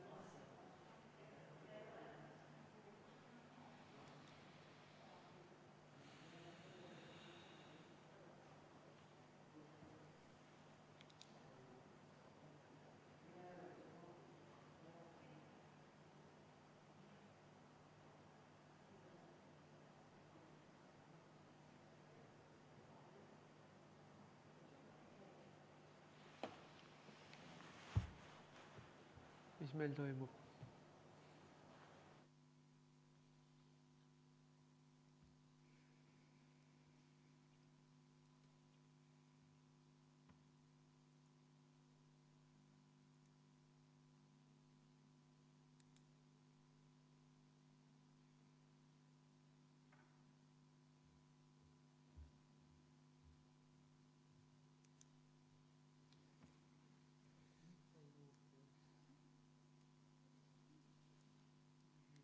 V a h e a e g Mis meil toimub?